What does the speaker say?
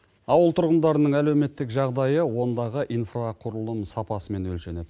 ауыл тұрғындарының әлеуметтік жағдайы ондағы инфрақұрылым сапасымен өлшенеді